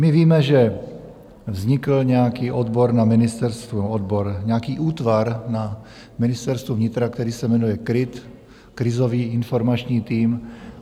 My víme, že vznikl nějaký odbor na ministerstvu, odbor, nějaký útvar na Ministerstvu vnitra, který se jmenuje KRIT, Krizový informační tým.